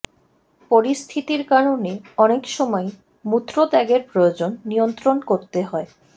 পরিস্থিতির কারণে অনেক সময়ই মূত্রত্যাগের প্রয়োজন নিয়ন্ত্রণ করতে হয়